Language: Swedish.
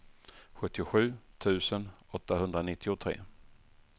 sjuttiosju tusen åttahundranittiotre